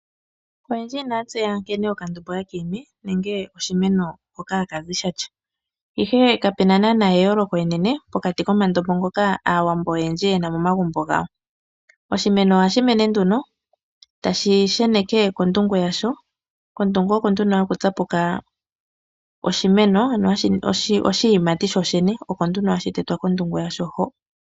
Oyendji inaya tseya nkene okandombo haka imi nenge oshimeno hoka haka zi sha tya, ihe kapu na naanaa eyooloko enene pokati komandombo ngoka Aawambo oyendji ye na momagumbo gawo. Oshimeno ohashi mene nduno tashi sheneke kondungu yasho, kondungu oko nduno haku tsapuka oshiyimati shoshene, oko nduno hashi tetwa kondungu yasho hoka.